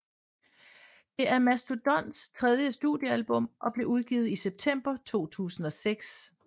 Det er Mastodons tredje studiealbum og blev udgivet i september 2006